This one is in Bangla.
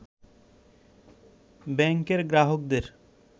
ব্যাংকের গ্রাহকদের